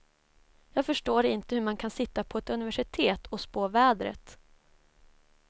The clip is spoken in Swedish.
Jag förstår inte hur man kan sitta på ett universitet och spå vädret.